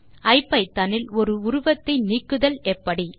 ஐபிதான் இல் ஒரு உருவத்தை நீக்குதல் எப்படி